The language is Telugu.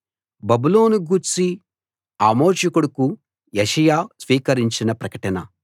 బబులోనును గూర్చి ఆమోజు కొడుకు యెషయా స్వీకరించిన ప్రకటన